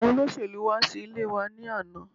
Àwọn olóṣèlú wá sí ilé wa ni àná